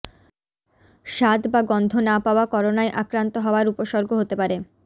স্বাদ বা গন্ধ না পাওয়া করোনায় আক্রান্ত হওয়ার উপসর্গ হতে পারে